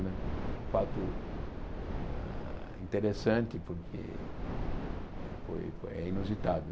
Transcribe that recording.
Né é um fato ah interessante porque foi foi é inusitado.